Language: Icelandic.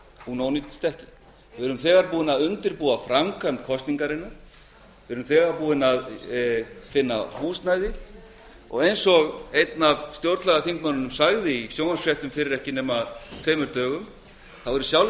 hún ónýtist ekki við höfum þegar undirbúið framkvæmd kosningarinnar við höfum þegar fundið húsnæði og eins og einn af stjórnlagaþingsmönnunum sagði í sjónvarpsfréttum fyrir tveimur dögum er í sjálfu